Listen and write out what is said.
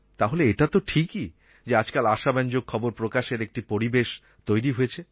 তাহলে এটা তো ঠিকই যে আজকাল আশাব্যঞ্জক খবর প্রকাশের একটি পরিবেশ তৈরি হয়েছে